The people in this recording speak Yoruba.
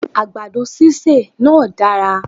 Àgbàdo sísè náá dára